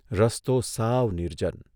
રસ્તો સાવ નિર્જન.